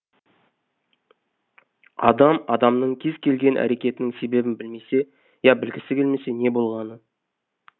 адам адамның кез келген әрекетінің себебін білмесе ия білгісі келмесе не болғаны